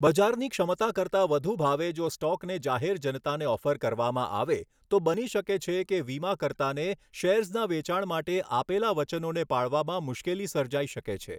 બજારની ક્ષમતા કરતાં વધુ ભાવે જો સ્ટોકને જાહેર જનતાને ઓફર કરવામાં આવે તો બની શકે છે કે વીમાકર્તાને શેર્સના વેચાણ માટે આપેલા વચનોને પાળવામાં મુશ્કેલી સર્જાઈ શકે છે.